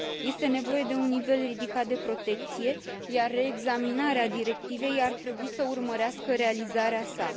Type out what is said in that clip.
Este nevoie de un nivel ridicat de protecție, iar reexaminarea directivei ar trebui să urmărească realizarea sa.